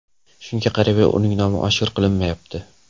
Shunga qaramay, uning nomi oshkor qilinmayapti.